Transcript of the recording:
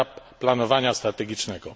etap planowania strategicznego.